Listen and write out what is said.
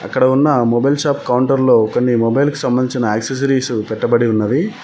ఇక్కడ ఉన్న mobile shop counter లో కొన్ని మొబైల్ కి సంబంధించిన యాక్సెసరీస్ పెట్టబడి ఉన్నవి.